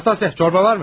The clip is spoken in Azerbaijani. Nastasya, şorba var?